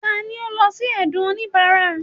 tani o lọ si ẹdun onibara?